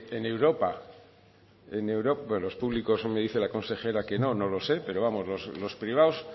en europa bueno los públicos como dice la consejera que no no lo sé pero vamos los privados